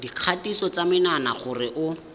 dikgatiso ya menwana gore o